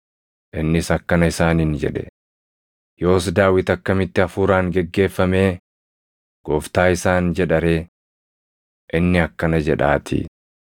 Innis akkana isaaniin jedhe; “Yoos Daawit akkamitti Hafuuraan geggeeffamee, ‘Gooftaa’ isaan jedha ree? Inni akkana jedhaatii: